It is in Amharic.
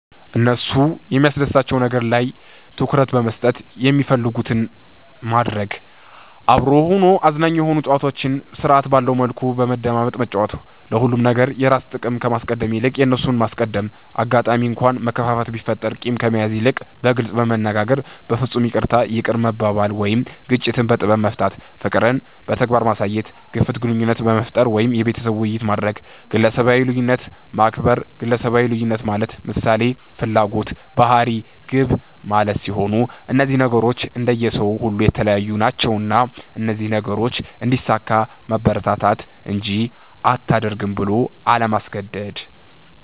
እነሱ የሚያስደስታቸዉ ነገር ላይ ትኩረት በመስጠት የሚፈልጉትን ማድረግ፤ አብሮ ሆኖ አዝናኝ የሆኑ ጨዋታዎችን ስርዐት ባለዉ መልኩ በመደማመጥ መጫወት፤ ለሁሉም ነገር የራስን ጥቅም ከማስቀደም ይልቅ የእነርሱን ማስቀደም፣ አጋጣሚ እንኳ መከፋፋት ቢፈጠር ቂምን ከመያዝ ይልቅ በግልጽ በመነጋገር በፍፁም ይቅርታ ይቅር መባባል ወይም ግጭትን በጥበብ መፍታት፣ ፍቅርን በተግባር ማሳየት፣ ግፍት ግንኙነት መፍጠር ወይም የቤተሰብ ዉይይት ማድረግ፣ ግለሰባዊ ልዩነትን ማክበር ግለሰባዊ ልዩነት ማለት ምሳሌ፦ ፍላጎት፣ ባህሪ፣ ግብ ማለት ሲሆን እነዚህ ነገሮች እንደየ ሰዉ ሁሉ የተለያዩ ናቸዉና እነዚህን ነገሮች እንዲያሳካ ማበረታታት እንጂ አታድርግ ብሎ አለማስገደድ።